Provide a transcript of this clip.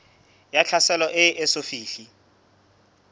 ya tlhaselo e eso fihle